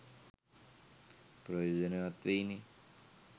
ප්‍රයෝජනවත් වෙයිනේ